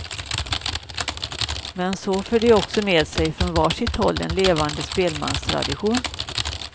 Men så för de också med sig, från var sitt håll, en levande spelmanstradition.